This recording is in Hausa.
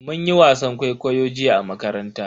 Mun yi wasan kwaikwayo jiya a makaranta.